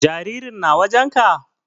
Jaririn na wajen ka?